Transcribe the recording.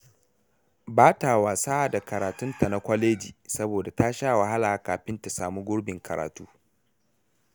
Ba ta wasa da karatunta na kwaleji, saboda ta sha wahala kafin ta samu gurbin karatu.